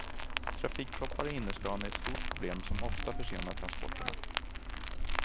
Trafikproppar i innerstan är ett stort problem som ofta försenar transporterna.